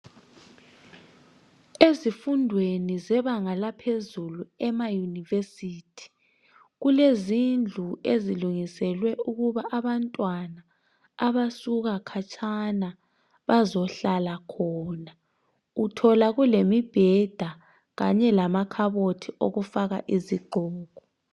Ezifundweni zebanga laphezulu emayunivesithi kulezindlu ezilungiselwe ukuba abantwana abasuka khatshana bazohlala khona uthola kulemibheda kanye lamakhabothi okufaka izigqoko.